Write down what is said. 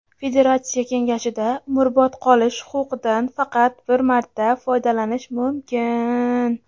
Federatsiya Kengashida umrbod qolish huquqidan faqat bir marta foydalanish mumkin.